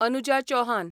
Anuja Chauhan